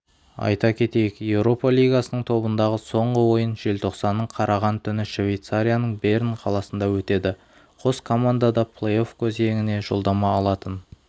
айта кетейік еуропа лигасының тобындағы соңғы ойын желтоқсанның қараған түні швейцарияның берн қаласында өтеді қос команда да плей-офф кезеңіне жолдама алатын